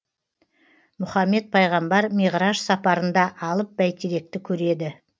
мұхаммед пайғамбар миғраж сапарында алып бәйтеректі көреді